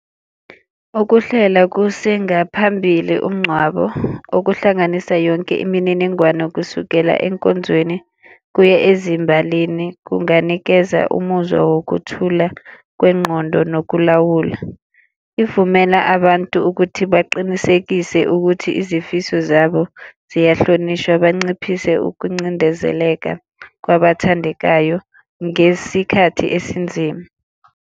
Ukuhlela kusengaphambili umngcwabo okuhlanganisa yonke imininingwane kusukela enkonzweni kuye ezimbalini kunganikeza umuzwa wokuthula kwengqondo nokulawula. Ivumela abantu ukuthi baqinisekise ukuthi izifiso zabo ziyahlonishwa banciphise ukuncindezeleka kwabathandekayo ngesikhathi esinzima.